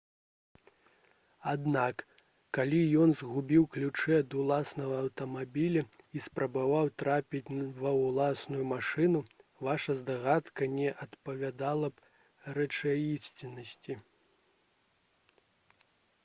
аднак калі ён згубіў ключы ад уласнага аўтамабіля і спрабаваў трапіць ва ўласную машыну ваша здагадка не адпавядала б рэчаіснасці